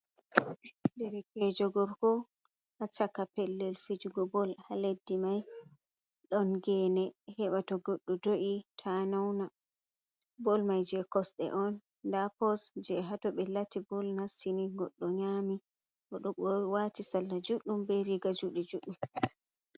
Derekeejo gorko, Haa shaka pellel fijugo bol, ha leɗɗi mai ɗon geene, heɓa to goɗɗo do’i ta nauna, bol mai je kosɗe on, nda pos je haa toɓe lati bol nasti ni goɗɗo nyami. O ɗo ɓo waati salla juɗɗum, be riga juuɗe juɗɗum.